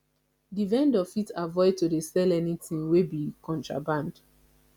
di vendor fit avoid to dey sell anything wey be contraband